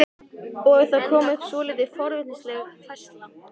Og það kom upp svolítið forvitnileg færsla.